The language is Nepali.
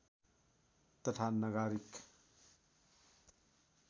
तथा नगारिक